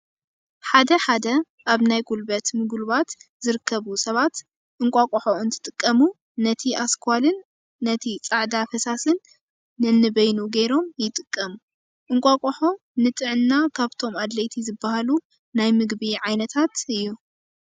ሓደ ሓደ ኣብ ናይ ጉልበት ምጉልባት ዝርከቡ ሰባት እንቋሖ እንትጥቀሙ ነቲ ኣስኳልን እቲ ፃዕዳ ፈሳስን ነንበይሩ ገይሮም ይጥቀሙ። እንቋቁሖ ንጥዕና ካብቶም ኣድለይቲ ዝበሃሉ ናይ ምግቢ ዓይነታት እዩ።